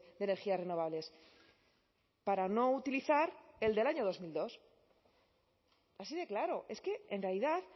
de energías renovables para no utilizar el del año dos mil dos así de claro es que en realidad